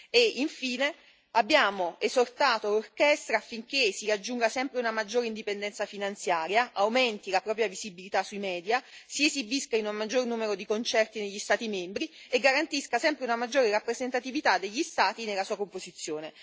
E, infine, abbiamo esortato l'orchestra affinché raggiunga sempre una maggiore indipendenza finanziaria, aumenti la propria visibilità sui media, si esibisca in un maggior numero di concerti negli Stati membri e garantisca sempre una maggiore rappresentatività degli Stati nella sua composizione.